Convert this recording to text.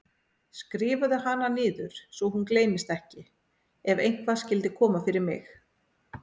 Skrifaðu hana niður svo hún gleymist ekki ef eitthvað skyldi koma fyrir mig.